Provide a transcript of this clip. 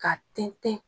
Ka tɛntɛn